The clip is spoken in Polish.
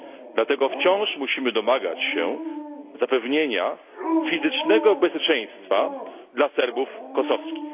Dlatego wciąż musimy domagać się zapewnienia fizycznego bezpieczeństwa dla Serbów kosowskich.